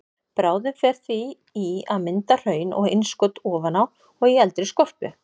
Bráðin fer því í að mynda hraun og innskot ofan á og í eldri skorpu.